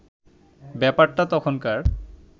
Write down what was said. ব্যাপারটা তখনকার